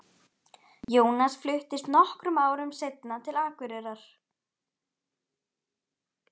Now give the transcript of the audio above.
Jónas fluttist nokkrum árum seinna til Akureyrar.